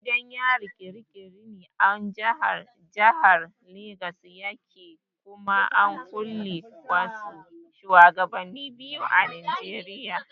Gidan yarin kirikiri a jahar legas yake kuma an kulle wasu shuwagabannin Najeriya a gurin.